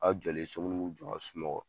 A jɔlen so munnu m'u jɔ ka sunɔgɔ